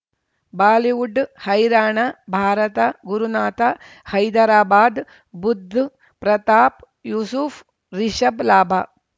Bollywood ಹೈರಾಣ ಭಾರತ ಗುರುನಾಥ ಹೈದರಾಬಾದ್ ಬುಧ್ ಪ್ರತಾಪ್ ಯೂಸುಫ್ ರಿಷಬ್ ಲಾಭ